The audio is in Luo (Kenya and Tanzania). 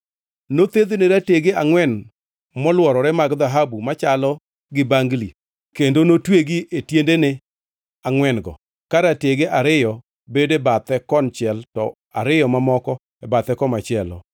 Nothedhne ratege angʼwen molworore mag dhahabu machalo gi bangli kendo notwegi e tiendene angʼwen-go, ka ratege ariyo bedo e bathe konchiel to ariyo mamoko e bathe komachielo.